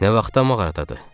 Nə vaxtdır mağaradadır?